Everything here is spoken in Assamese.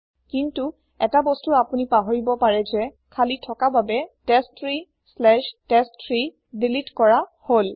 কিন্তু ১টা বস্তু আপোনি পাহৰিব পাৰে যে খালি থকা বাবে testtreeটেষ্ট3 দিলিত কৰা হল